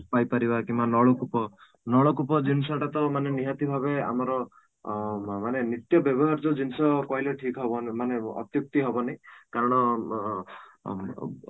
ପାଇପାରିବା କିମ୍ବା ନଳକୂପ ଜିନିଷ ଟା ମାନେ ନିହାତି ଭାବେ ଆମର ଅଂ ମାନେ ନିତ୍ୟ ବ୍ୟବହାର୍ଯ୍ୟ ଜିନିଷ କହିଲେ ଠିକ ହବ ମାନେ ଅତୁକ୍ତି ହେବ ନାହିଁ କାରଣ ଅଂ ବ